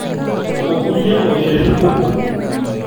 Okulie moyiaritin kumok.